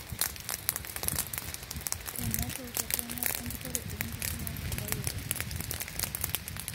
Emoto torono empurore ongisu netudupayie tene.